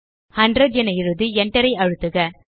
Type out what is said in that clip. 100 என எழுதி enter ஐ அழுத்துக